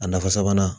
A nafa sabanan